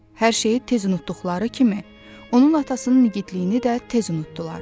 Hər şeyi tez unutduqları kimi, onun atasının igidliyini də tez unutdular.